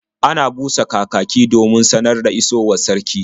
Ana busa kakaki domin sanar da isowar sarki.